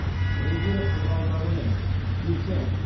регель қызғалдағы мен дирхем